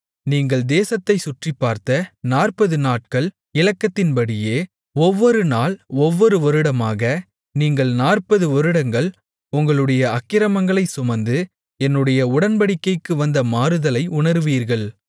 நீங்கள் தேசத்தைச் சுற்றிப்பார்த்த நாற்பதுநாட்கள் இலக்கத்தின்படியே ஒவ்வொரு நாள் ஒவ்வொரு வருடமாக நீங்கள் நாற்பது வருடங்கள் உங்களுடைய அக்கிரமங்களைச் சுமந்து என்னுடைய உடன்படிக்கைக்கு வந்த மாறுதலை உணருவீர்கள்